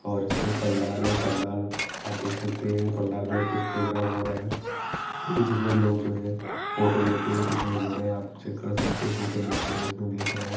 और इसी ये पंडाल हैं पंडाल आप देख सकते हैं पंडाल में कुछ प्रोग्राम हो रहा है जिसमें लोग जो हैं फोटो लेते हुए दिखाई दे रहे हैं आप चेक कर सकते हो फोटो लेते हुए इसमें देख रहे हैं।